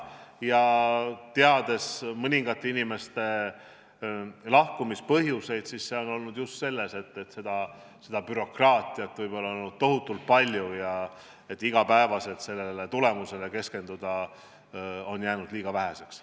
Ja teades mõningate inimeste lahkumise põhjuseid, siis võin öelda, et need on olnud seotud just sellega, et bürokraatiat on olnud tohutult palju ja aega igapäevaselt tulemusele keskenduda on jäänud liiga väheks.